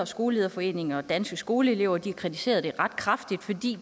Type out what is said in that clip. skolelederforeningen og danske skoleelever de har kritiseret det ret kraftigt fordi